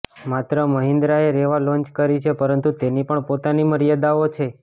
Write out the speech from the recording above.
માત્ર મહિન્દ્રાએ રેવા લોન્ચ કરી છે પરંતુ તેની પણ પોતાની મર્યાદાઓ છે